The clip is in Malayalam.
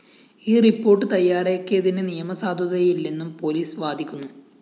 ഈ റിപ്പോർട്ട്‌ തയ്യാറാക്കിയതിന്‌ നിയമസാധുതയില്ലെന്നും പോലീസ്‌ വാദിക്കുന്നു